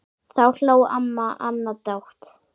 Þá hló amma Anna dátt.